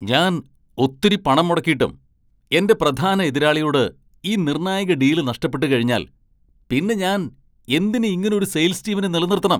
ഞാൻ ഒത്തിരി പണം മുടക്കീട്ടും എന്റെ പ്രധാന എതിരാളിയോട് ഈ നിർണായക ഡീല് നഷ്ടപ്പെട്ടുകഴിഞ്ഞാൽ പിന്നെ ഞാൻ എന്തിന് ഇങ്ങനൊരു സെയിൽസ് ടീമിനെ നിലനിർത്തണം?